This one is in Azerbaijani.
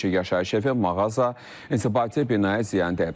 Bir neçə yaşayış evi, mağaza, inzibati binaya ziyan dəyib.